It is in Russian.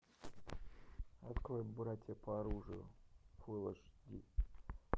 открой братья по оружию фулл аш ди